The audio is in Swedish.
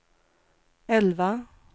elva